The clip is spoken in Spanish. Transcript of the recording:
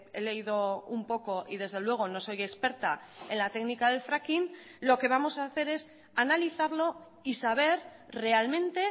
he leído un poco y desde luego no soy experta en la técnica del fracking lo que vamos a hacer es analizarlo y saber realmente